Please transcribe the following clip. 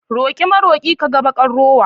Roƙi maroƙi ka ga baƙar rowa.